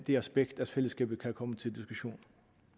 det aspekt af fællesskabet kan komme til diskussion